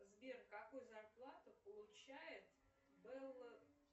сбер какую зарплату получает белла